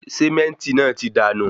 Sementi náà tí dànù